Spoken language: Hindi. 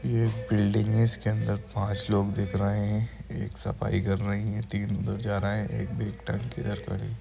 ये बिल्डिंग है इसके अंदर पांच लोग दिख रहे है एक सफाई कर रहा हैं तीन उधर जा रहा है एक बैग टांग के इधर खड़े हैं